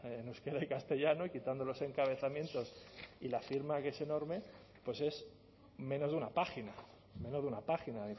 en euskera y castellano y quitando los encabezamientos y la firma que es enorme pues es menos de una página menos de una página